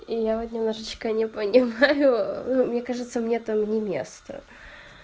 и я вот немножечко не понимаю ха-ха ну мне кажется мне там не место